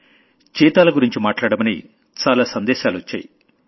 చీతాలగురించి మాట్లాడమని చాలా సందేశాలొచ్చాయి